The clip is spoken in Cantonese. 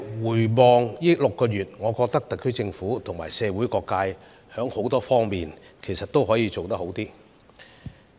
回望過去6個月，我認為特區政府與社會各界，其實在很多方面也可做得更好。